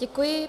Děkuji.